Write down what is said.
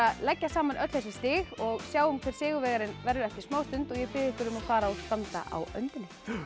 leggja saman öll þessi stig og sjáum hver sigurvegarinn verður eftir smá stund og ég bið ykkur um að fara og standa á öndinni